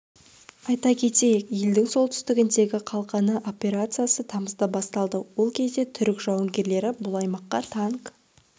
айта кетейік елдің солтүстігіндегі қалқаны операциясы тамызда басталды ол кезде түрік жауынгерлері бұл аймаққа танк